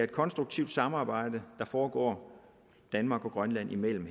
konstruktivt samarbejde der foregår danmark og grønland imellem